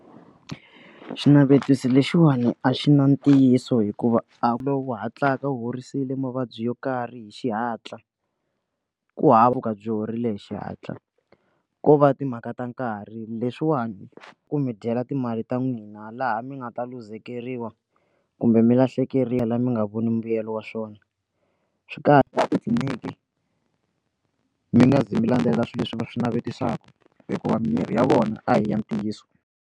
Xinavetiso lexiwani a xi na ntiyiso hikuva a ku lowu wu hatlaka horisiwile mavabyi yo karhi hi xihatla ku hava ku ka byi horile hi xihatla ko va timhaka ta nkarhi leswiwani ku mi dyela timali ta n'wina laha mi nga ta luzekeriwa kumbe mi lahlekeriwa mi nga voni mbuyelo wa swona swi kahle tliliniki mi nga zi mi landzelela swilo leswi va swi navetisaka hikuva mirhi ya vona a hi ya ntiyiso.